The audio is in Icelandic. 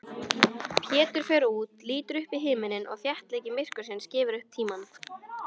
Pétur fer út, lítur upp í himininn og þéttleiki myrkursins gefur upp tímann.